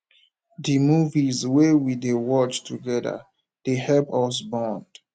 di movies wey we dey watch togeda dey help us bond